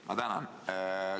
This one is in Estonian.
Ma tänan!